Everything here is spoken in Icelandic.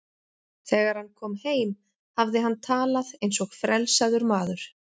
Þegar hann kom heim hafði hann talað eins og frelsaður maður.